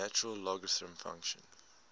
natural logarithm function